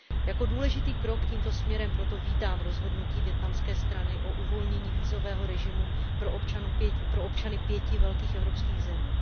Jako důležitý krok tímto směrem proto vítám rozhodnutí vietnamské strany o uvolnění vízového režimu pro občany pěti velkých evropských zemí.